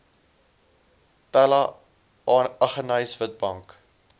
pella aggeneys witbank